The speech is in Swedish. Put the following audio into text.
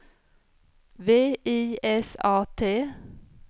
V I S A T